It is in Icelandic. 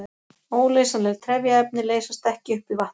Óleysanleg trefjaefni leysast ekki upp í vatni.